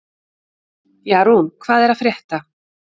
Jarún, hvað er að frétta?